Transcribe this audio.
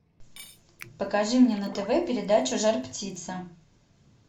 покажи мне на тв передачу жар птица